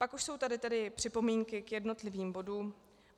Pak už jsou tady tedy připomínky k jednotlivým bodům.